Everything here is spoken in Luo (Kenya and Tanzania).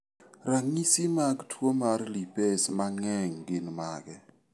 Ranyisi mag tuo mar lipase mang'eny gin mage?